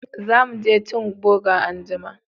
Za mu je cin boga anjima